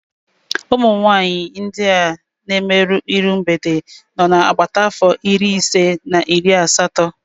Umunwanyị ndị a na emerụ iru mgbede nọ na agbata afọ iri ise na iri asatọ